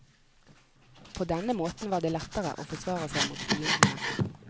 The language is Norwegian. På denne måten var det lettere å forsvare seg mot fiendene.